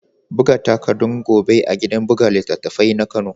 Buga takardun gobe a gidan buga littattafai na kano.